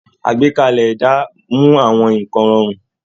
Àgbékalẹ̀ ẹ̀dá mú àwọn nǹkan rọrùn